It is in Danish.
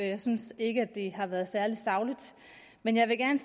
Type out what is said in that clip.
jeg synes ikke det har været særlig sagligt men jeg vil gerne